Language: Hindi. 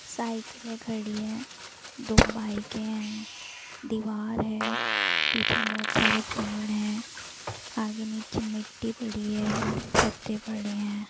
साइकिले खड़ी है दो बाइके है दीवार है पीछे बहोत सारे पेड़ है आगे नीचे मिट्टी पड़ी है पत्ते पड़े है।